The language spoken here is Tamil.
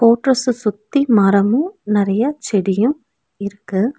கோட்ரஸ்ச சுத்தி மரமு நெறைய செடியு இருக்கு.